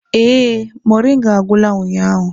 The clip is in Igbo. Ee, moringa agwụla ụnyahụ.